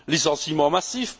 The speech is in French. Licenciements massifs?